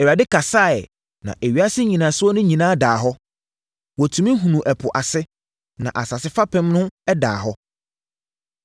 Awurade kasaeɛ, na ewiase nnyinasoɔ no nyinaa daa hɔ. Wɔtumi hunuu ɛpo ase, na asase fapem ho daa hɔ.